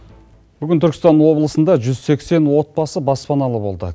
бүгін түркістан облысында жүз сексен отбасы баспаналы болды